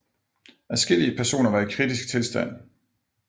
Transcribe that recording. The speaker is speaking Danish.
Adskillige personer var i kritisk tilstand